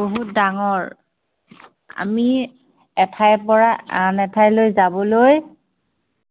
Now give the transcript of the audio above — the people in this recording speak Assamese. বহুত ডাঙৰ। আমি এঠাইৰ পৰা আন এঠাইলৈ যাবলৈ